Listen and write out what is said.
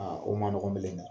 Aa o ma nɔgɔ belen dɛ!